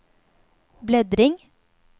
bläddring